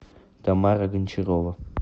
тамара гончарова